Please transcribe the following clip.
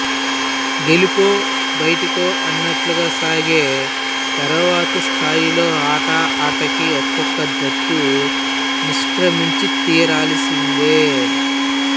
గెలుపోబయిటికో అన్నట్టుగా సాగే తరువాతి స్థాయిలో ఆట ఆటకీ ఒకొక్క జట్టు నిష్క్రమించితీరాల్సిందే